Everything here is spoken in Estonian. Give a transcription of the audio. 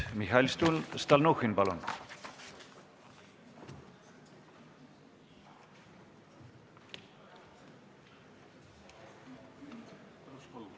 Mihhail Stalnuhhin, palun!